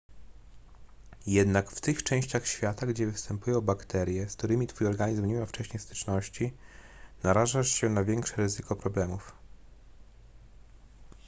jednak w tych częściach świata gdzie występują bakterie z którymi twój organizm nie miał wcześniej styczności narażasz się na większe ryzyko problemów